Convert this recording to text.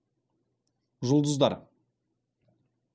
жұлдыздар